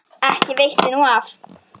Ekki veitti nú af.